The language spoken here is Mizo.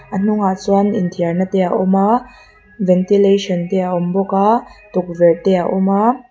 a hnungah chuan inthiarna te a awm a ventilation te a awm bawk a tukverh te a awm a.